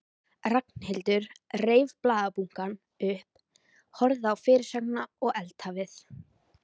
Ragnhildur reif blaðabunkann upp, horfði á fyrirsögnina og eldhafið.